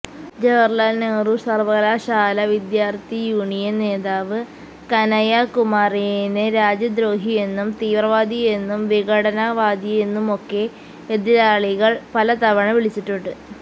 ജവഹര്ലാല് നെഹ്രു സര്വ്വകലാശാല വിദ്യാര്ത്ഥി യൂണിയന് നേതാവ് കനയ്യ കുമാറിനെ രാജ്യദ്രോഹിയെന്നും തീവ്രവാദിയെന്നും വിഘടനവാദിയെന്നുമൊക്കെ എതിരാളികള് പലതവണ വിളിച്ചിട്ടുണ്ട്